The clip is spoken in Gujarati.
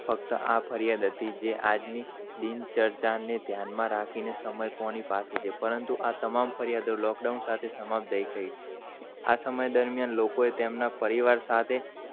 ફ્કત આ જ ફરિયાદ હતી, જે આજ ની બિન ચર્ચાની, ને ધ્યાન માં રાખીને, સમય કોની પાસે છે. પરંતું આ તમામ, ફરિયાદ lockdown સાથે સમાપદાય છે. આ સમય દરમિયાન લોકોએ તેમના પરિવાર સાથે